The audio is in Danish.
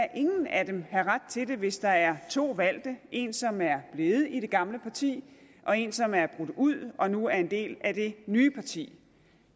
af dem have ret til det hvis der er to valgte en som er blevet i det gamle parti og en som er brudt ud og nu er en del af det nye parti